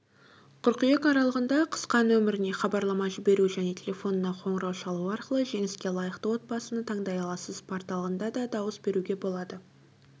қыркүйек аралығында қысқа нөміріне хабарлама жіберу және телефонына қоңырау шалу арқылы жеңіске лайықты отбасыны таңдай аласыз порталында да дауыс беруге болады